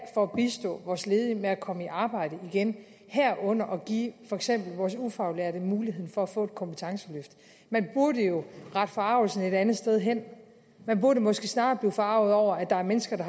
for at bistå vores ledige med at komme i arbejde igen herunder at give for eksempel vores ufaglærte mulighed for at få et kompetenceløft men burde jo rette forargelsen et andet sted hen man burde måske snarere blive forarget over at der er mennesker